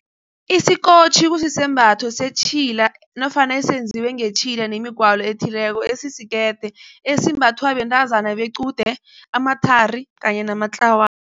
Isikotjhi kusisembatho setjhila nofana esenziwe ngetjhila nemigwalo ethileko esisikerede esimbathwa bentazana bequde, amathari kanye